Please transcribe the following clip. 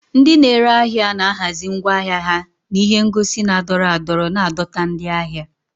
Ndị na-ere ahịa na-ahazi ngwa ahịa ha na ihe ngosi na-adọrọ adọrọ, na-adọta ndị ahịa.